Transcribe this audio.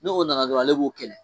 Ne o nana dɔrɔn ale b'o kɛlɛ